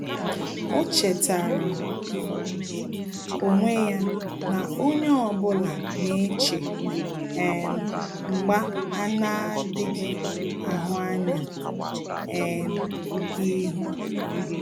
Ọ́ chètàrà onwe ya na onye ọ bụla nà-échè um mgbà a nà-ádị́ghị́ áhụ́ ányá um ihu.